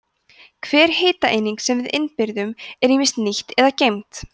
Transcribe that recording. hver hitaeining sem við innbyrðum er ýmist nýtt eða geymd